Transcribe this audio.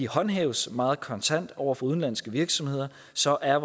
håndhæves meget kontant over for udenlandske virksomheder så er